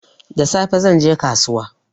Da safe zan je kasuwa